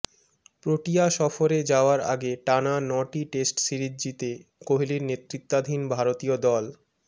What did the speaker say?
Protea সফরে যাওয়ার আগে টানা নটি টেস্ট সিরিজ জিতে কোহলির নেতৃত্বধীন ভারতীয় দল